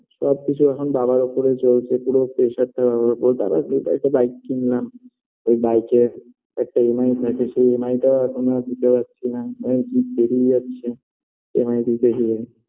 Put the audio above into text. সবকিছু এখন বাবার ওপরই চলছে পুরো pressure -টা বাবার ওপর বাবার কৃপায় একটা bike কিনলাম ওই Bike -এ একটা EMI কেটেছি EMI - টা এখন আর দিতে পারছিনা date পেরিয়ে যাচ্ছে EMI দিতে গিয়ে